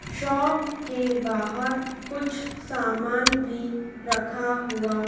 shop के बाहर कुछ सामान भी रखा हुआ--